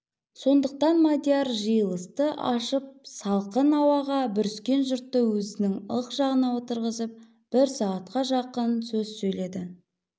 сондықтан мадияр жиылысты ашып салқын ауаға бүріскен жұртты өзінің ық жағына отырғызып бір сағатқа жақын сөз сөйледі